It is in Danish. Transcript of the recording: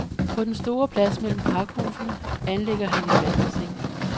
På den store plads mellem pakhusene anlægger han et vandbassin.